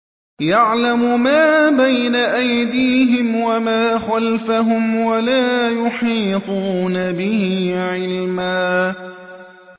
يَعْلَمُ مَا بَيْنَ أَيْدِيهِمْ وَمَا خَلْفَهُمْ وَلَا يُحِيطُونَ بِهِ عِلْمًا